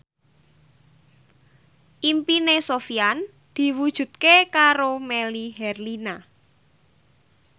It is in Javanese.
impine Sofyan diwujudke karo Melly Herlina